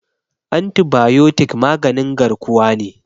antibayotik maganin garkuwa ne